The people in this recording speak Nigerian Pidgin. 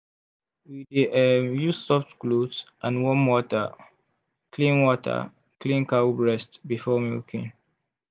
we dey um use soft cloth and warm water clean water clean cow breast before milking.